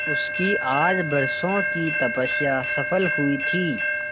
उसकी आज बरसों की तपस्या सफल हुई थी